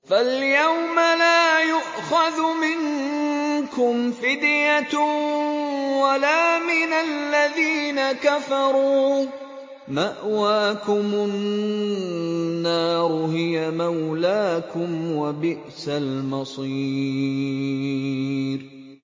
فَالْيَوْمَ لَا يُؤْخَذُ مِنكُمْ فِدْيَةٌ وَلَا مِنَ الَّذِينَ كَفَرُوا ۚ مَأْوَاكُمُ النَّارُ ۖ هِيَ مَوْلَاكُمْ ۖ وَبِئْسَ الْمَصِيرُ